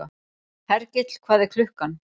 Hergill, hvað er klukkan?